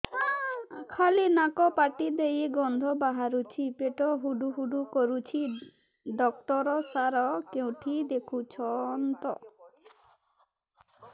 ଖାଲି ନାକ ପାଟି ଦେଇ ଗଂଧ ବାହାରୁଛି ପେଟ ହୁଡ଼ୁ ହୁଡ଼ୁ କରୁଛି ଡକ୍ଟର ସାର କେଉଁଠି ଦେଖୁଛନ୍ତ